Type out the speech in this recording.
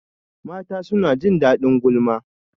Mata suna jin daɗin gulma